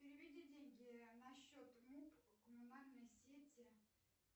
переведи деньги на счет муп коммунальные сети